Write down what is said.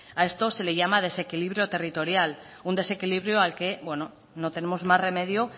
a esto se le llama desequilibrio territorial un desequilibrio al que no tenemos más remedio